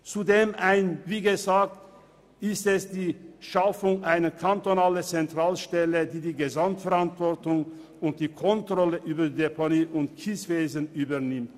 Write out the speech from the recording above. Zudem geht es um die Schaffung einer kantonalen Zentralstelle, welche die Gesamtverantwortung und die Kontrolle über das Deponie- und Abbauwesen übernimmt.